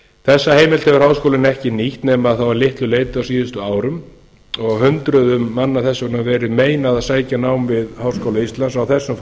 þessa heimild hefur háskólinn ekki nýtt nema þá að litlu leyti á síðustu árum og hundruðum manna þess vegna verið meinað að sækja nám við háskóla íslands á þessum